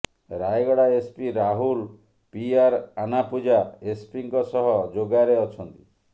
Rayagada SP Rahul PR ଆନାପୂଜା ଏସ୍ପିଙ୍କ ସହ ଯୋଗାରେ ଅଛନ୍ତି